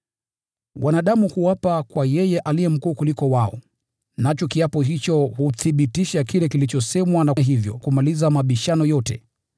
Wanadamu huapa kwa yeye aliye mkuu kuwaliko, nacho kiapo hicho huthibitisha kile kilichosemwa na hivyo humaliza mabishano yote.